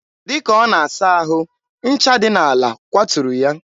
dịka ọ na-asa ahụ, ncha dị n'ala kwaturu ya.